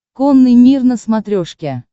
конный мир на смотрешке